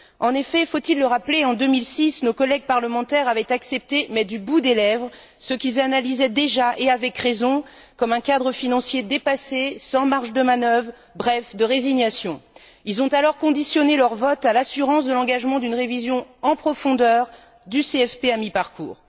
En effet faut il le rappeler en 2006, nos collègues parlementaires avaient accepté, mais du bout des lèvres, ce qu'ils analysaient déjà et avec raison comme un cadre financier dépassé, sans marge de manœuvre, bref de résignation. Ils ont alors conditionné leur vote à l'assurance de l'engagement d'une révision, en profondeur, du CFP à mi parcours.